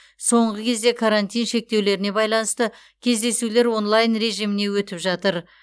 соңғы кезде карантин шектеулеріне байланысты кездесулер онлайн режиміне өтіп жатыр